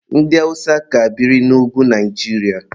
Ndị awụsa ka biri n'ugwu Naijiria.